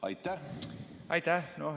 Aitäh!